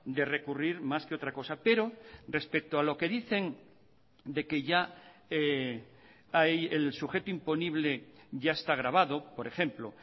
de recurrir más que otra cosa pero respecto a lo que dicen de que ya hay el sujeto imponible ya está grabado por ejemplo